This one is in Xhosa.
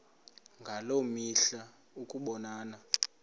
ngaloo mihla ukubonana